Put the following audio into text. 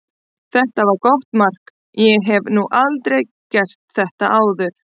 Þetta var gott mark, ég hef nú aldrei gert þetta áður.